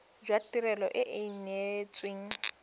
jwa tirelo e e neetsweng